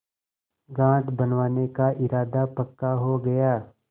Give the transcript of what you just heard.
घाट बनवाने का इरादा पक्का हो गया